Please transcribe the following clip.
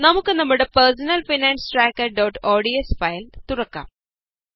നമുക്ക് നമ്മുടെ personal finance tracker ods file തുറക്കാം